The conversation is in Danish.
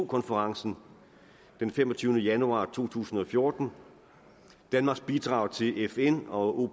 konferencen den femogtyvende januar to tusind og fjorten danmarks bidrag til fn og